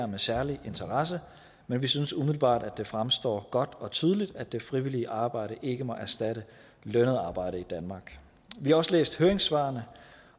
med særlige interesse men vi synes umiddelbart at det fremstår godt og tydeligt at det frivillige arbejde ikke må erstatte lønnet arbejde i danmark vi har også læst høringssvarene